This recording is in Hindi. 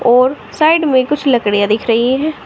और साइड में कुछ लकड़ियां दिख रही हैं।